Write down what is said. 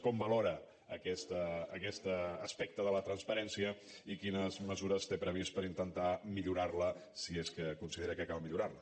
com valora aquest aspecte de la transparència i quines mesures té previst per intentar millorarla si és que considera que cal millorarla